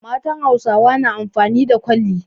Matan Hausawa na amfani da kwalli.